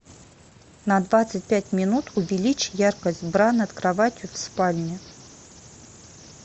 на двадцать пять минут увеличь яркость бра над кроватью в спальне